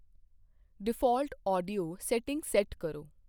default audio setting set ਕਰੋ